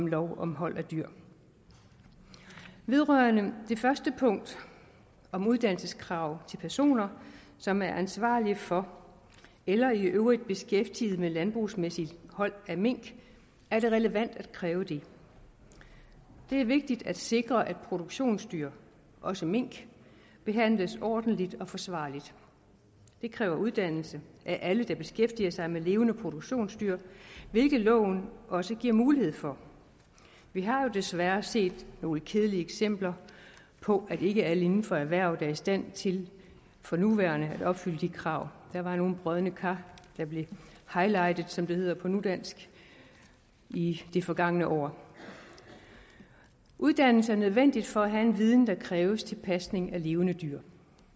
lov om hold af dyr vedrørende det første punkt om uddannelseskrav til personer som er ansvarlige for eller i øvrigt beskæftiget med landbrugsmæssigt hold af mink er det relevant at kræve det det er vigtigt at sikre at produktionsdyr også mink behandles ordentligt og forsvarligt det kræver uddannelse af alle der beskæftiger sig med levende produktionsdyr hvilket loven også giver mulighed for vi har jo desværre set nogle kedelige eksempler på at ikke alle inden for erhvervet er i stand til for nuværende at opfylde de krav der var nogle brodne kar der blev highlightet som det hedder på nudansk i det forgangne år uddannelse er nødvendigt for at have en viden der kræves til pasning af levende dyr